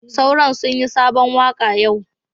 Sauron sunyi sabon waka yau.